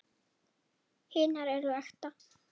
Hinar eru ekta.